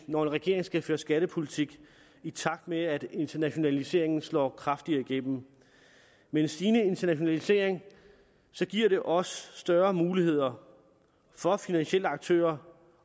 når en regering skal føre skattepolitik i takt med at internationaliseringen slår kraftigere igennem en stigende internationalisering giver også større muligheder for finansielle aktører